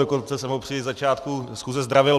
Dokonce jsem ho při začátku schůze zdravil.